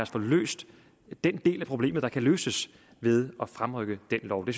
få løst den del af problemet der kan løses ved at fremrykke den lov det